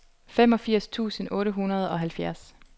femogfirs tusind otte hundrede og halvfjerds